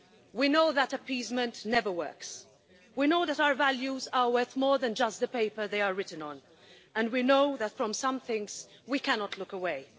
We know that appeasement never works, we know that our values are worth more than just the paper they are written on, and we know that from some things, we cannot look away.